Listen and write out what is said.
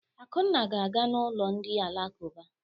Akunna ga-aga n'ụlọ ndị alakụba.